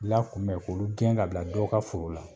La kunbɛ k'olu gɛn ka bila dɔ ka foro la